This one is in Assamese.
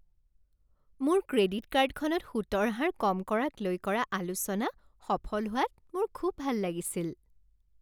মোৰ ক্ৰেডিট কাৰ্ডখনত সুতৰ হাৰ কম কৰাক লৈ কৰা আলোচনা সফল হোৱাত মোৰ খুব ভাল লাগিছিল।